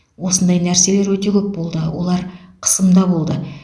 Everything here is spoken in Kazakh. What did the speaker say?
осындай нәрселер өте көп болды олар қысымда болды